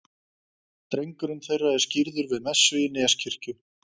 Drengurinn þeirra er skírður við messu í Neskirkju.